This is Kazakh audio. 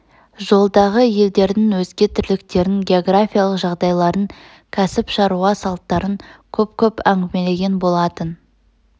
жолдағы елдердің өзге тірліктерн географиялық жағдайларын кәсіп шаруа салттарын көп-көп әңгімелеген болатын